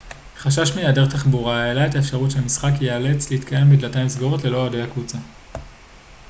חשש מהיעדר תחבורה העלה את האפשרות שהמשחק ייאלץ להתקיים בדלתיים סגורות ללא אוהדי הקבוצה